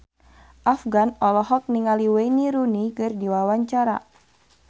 Afgan olohok ningali Wayne Rooney keur diwawancara